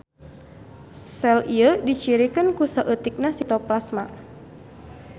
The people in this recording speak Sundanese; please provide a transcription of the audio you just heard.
Sel ieu dicirikeun ku saeutikna sitoplasma.